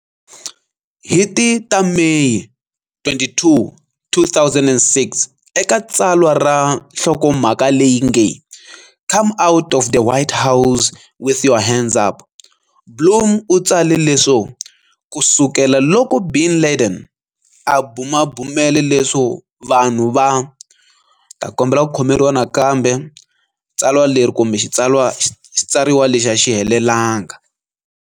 Hi ti ta Meyi 22, 2006 eka tsalwa ra nhlokomhaka leyi nge, "Come Out of the White House With Your Hands Up", Blum u tsale leswo," Ku sukela loko bin Laden a bumabumele leswo vanhu va ni ta kombela ki khomeriwa nakambe tswalwa leri kumbe tsalwa xitsariwa lexi a xi helelanga.